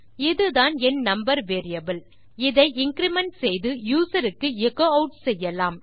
இதுதான் என் number variable இதை இன்கிரிமெண்ட் செய்து யூசர் க்கு எச்சோ ஆட் செய்யலாம்